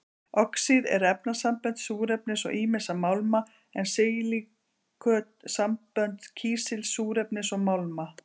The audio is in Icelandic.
Oxíð eru efnasambönd súrefnis og ýmissa málma, en silíköt sambönd kísils, súrefnis og málma.